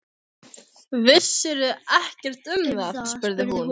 Vissirðu ekkert um það? spurði hún.